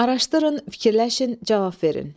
Araşdırın, fikirləşin, cavab verin.